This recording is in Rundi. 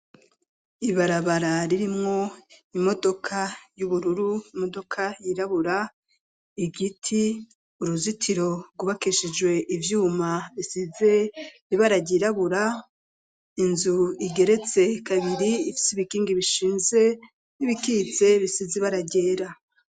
ibarabara ririmwo imodoka y'ubururu imodoka yirabura igiti uruzitiro rwubakishijwe ibyuma bisize bibarage irabura inzu igeretse kabinri ifitse ibikingi bishinze n'ibikitse bisize barag ryera.